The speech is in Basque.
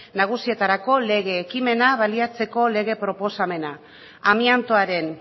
nagusietarako lege ekimena baliatzeko lege proposamena amiantoaren